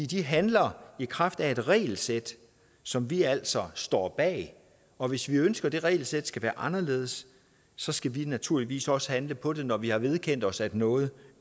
de handler i kraft af et regelsæt som vi altså står bag og hvis vi ønsker at det regelsæt skal være anderledes så skal vi naturligvis også handle på det når vi har vedkendt os at noget